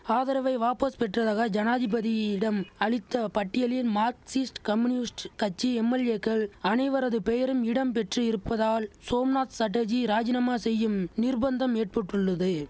ஆதரவை வாபஸ் பெற்றதாக ஜனாதிபதியிடம் அளித்த பட்டியலிம் மார்க்சிஸ்ட் கம்யூனிஸ்ட் கட்சி எம்எல்ஏக்கள் அனைவரது பெயரும் இடம் பெற்று இருப்பதால் சோம்நாத் சட்டர்ஜி ராஜினாமா செய்யும் நிர்பந்தம் ஏற்பட்டுள்ளது